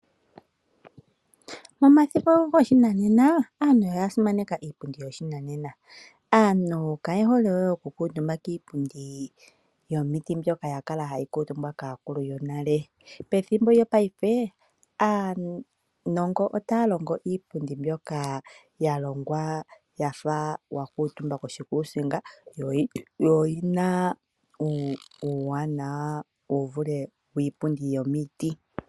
Momathimbo goshinanena aantu oya simaneka iipundi yoshinanena. Aantu kaye hole we okukuutumba kiipundi yomiti mbyoka kwali hayi kuutumbwa kaakuluyonale . Pethimbo lyopaife aanongo otaya longo iipundi mbyoka yalongwa yafa wakuutumba koshikuusinga yo oyina uuwanawa wu vule wiipundi yomiti.